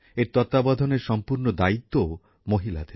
এর তত্ত্বাবধানের সম্পূর্ণ দ্বায়িত্বও মহিলাদের